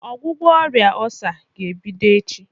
Ọgwụgwọ ọrịa ọsá ga ebido echi.